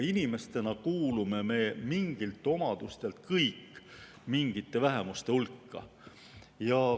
Inimestena kuulume me mingi omaduse tõttu kõik mingi vähemuse hulka.